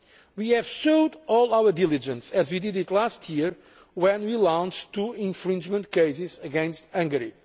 We have showed all our diligence just as we did last year, when we launched two infringement cases against Hungary.